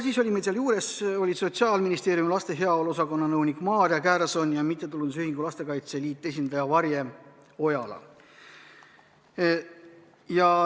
Siis olid meil seal Sotsiaalministeeriumi laste heaolu osakonna nõunik Maarja Kärson ja MTÜ Lastekaitse Liit esindaja Varje Ojala.